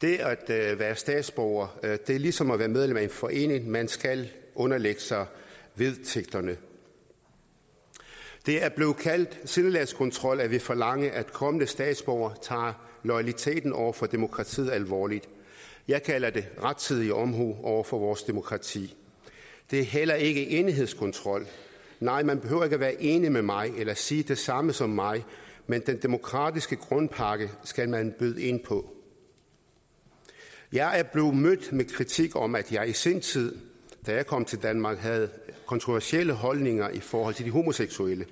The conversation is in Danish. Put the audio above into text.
det at være statsborger er ligesom at være medlem af en forening man skal underlægge sig vedtægterne det er blevet kaldt sindelagskontrol at ville forlange at kommende statsborgere tager loyaliteten over for demokratiet alvorligt jeg kalder det rettidig omhu over for vores demokrati det er heller ikke enighedskontrol nej man behøver ikke at være enig med mig eller sige det samme som mig men den demokratiske grundpakke skal man byde ind på jeg er blevet mødt med kritik om at jeg i sin tid da jeg kom til danmark havde kontroversielle holdninger i forhold til de homoseksuelle